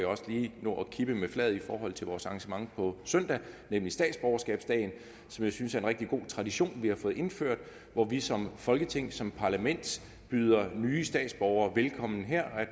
også lige nå at kippe med flaget i forhold til vores arrangement på søndag nemlig statsborgerskabsdagen som jeg synes er en rigtig god tradition vi har fået indført hvor vi som folketing som parlament byder nye statsborgere velkommen her